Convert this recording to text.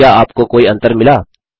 क्या आपको कोई अंतर मिला